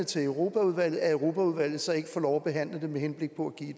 til europaudvalget at europaudvalget så ikke får lov at behandle dem med henblik på